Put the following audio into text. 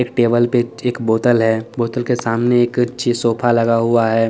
इस टेबल पे एक एक बोटल है बोटल के सामने एक अच्छी सोफा लगा हुआ है।